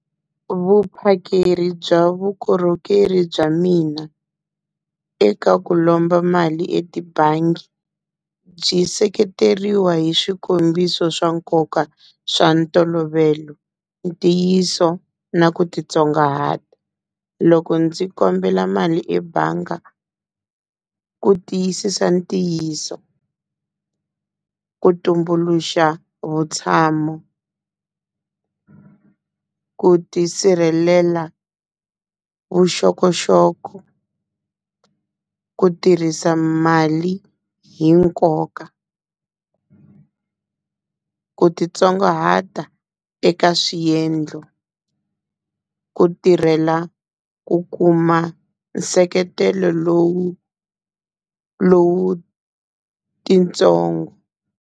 Vuphakeri bya vukorhokeri bya mina eka ku lomba mali etibangi, byi seketeriwa hi swikombiso swa nkoka swa ntolovelo, ntiyiso na ku titsongahata. Loko ndzi kombela mali ebangi ku tiyisisa ntiyiso, ku tumbuluxa vutshamo, ku tisirhelela vuxokoxoko, ku tirhisa mali hi nkoka, ku titsongahata eka swiendlo, ku tirhela ku kuma nseketelo lowu lowu titsongo.